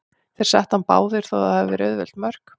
Þeir settu hann báðir, þó að það hafi verið auðveld mörk.